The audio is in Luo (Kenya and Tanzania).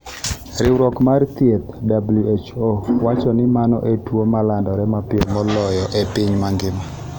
Riwruok mar thieth (WHO) wacho ni mano e tuwo ma landore mapiyo moloyo e piny mangima.